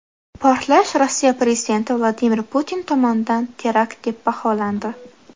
Portlash Rossiya prezidenti Vladimir Putin tomonidan terakt deb baholandi.